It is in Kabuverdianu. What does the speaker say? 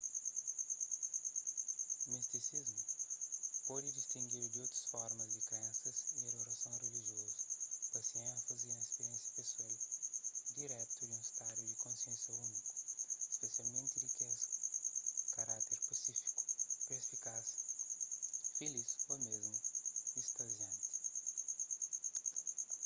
mistisismu pode distingidu di otu formas di krensas y adorason rilijiozu pa se énfazi na spiriénsia pesoal diretu di un stadu di konsénsia úniku spesialmenti kes di karákter pasífiku perspikaz filis ô mésmu istazianti